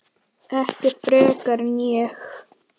Ekki frekar en ég.